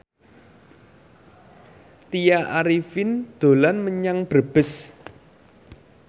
Tya Arifin dolan menyang Brebes